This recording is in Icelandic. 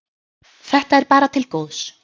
Þetta er bara til góðs.